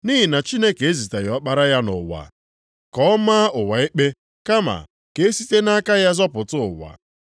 Nʼihi na Chineke eziteghị Ọkpara ya nʼụwa ka o maa ụwa ikpe, kama ka e site nʼaka ya zọpụta ụwa.